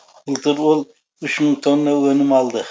былтыр ол үш мың тонна өнім алды